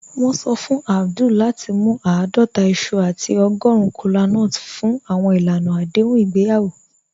Wọn sọ fún Abdul lati mú aadọta iṣu àti ọ̀gọ́run kọlánúts fún awọn ilànà adéhùn igbeyawo."